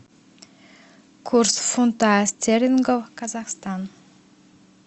курс фунта стерлингов казахстан